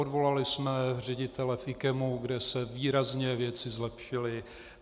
Odvolali jsme ředitele IKEMu, kde se výrazně věci zlepšily.